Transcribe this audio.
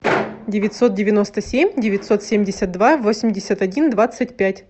девятьсот девяносто семь девятьсот семьдесят два восемьдесят один двадцать пять